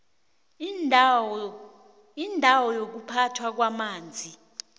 indawo yokuphathwa kwamanzi